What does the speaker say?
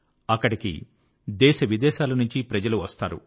అక్కడికి దేశవిదేశాల నుంచి ప్రజలు వస్తారు